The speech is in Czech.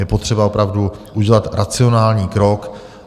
Je potřeba opravdu udělat racionální krok.